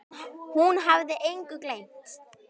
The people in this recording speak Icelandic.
Hún hafði engu gleymt.